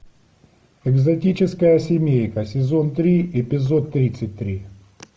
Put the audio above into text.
экзотическая семейка сезон три эпизод тридцать три